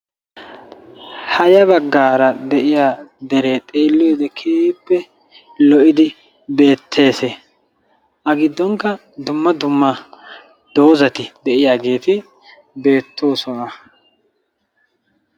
Ha ya baggaara de'iya deree xeelliyode keehippe lo'idi beettees. A giddonkka dumma dumma doozati de'iyageeti beettoosona.